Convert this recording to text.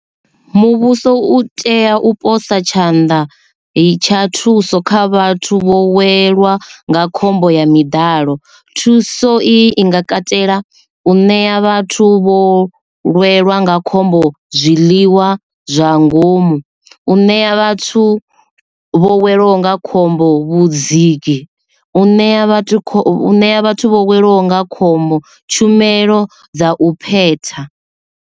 Muvhuso u tea u posa tshanḓa tsha thuso kha vhathu vho welwa nga khombo ya miḓalo, thuso i nga katela u ṋea vhathu vho lwelwa nga khombo zwiḽiwa zwa ngomu. U ṋea vhathu vho welwa nga khombo vhudziki. U ṋea vhathu kho ṋea vhathu vho welwa nga khombo tshumelo dza u phetha.